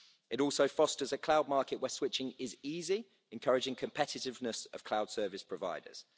It also fosters a cloud market where switching is easy, encouraging competitiveness of cloud service providers.